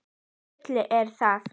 Hvaða bull er það?